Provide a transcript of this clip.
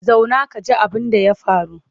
Zauna ka ji abinda ya faru!